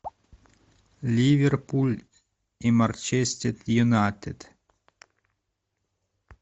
ливерпуль и манчестер юнайтед